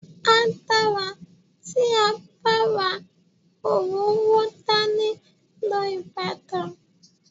A dára tí a bá ra òróró dání lọ Ìbàdàn.